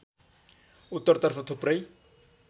उत्तरतर्फ थुप्रै